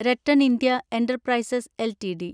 RattanIndia enterprises LTD